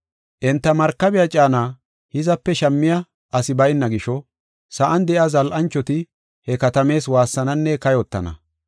“Enta markabiya caana hizape shammiya asi bayna gisho, sa7an de7iya zal7anchoti he katamaas waassananne kayotana.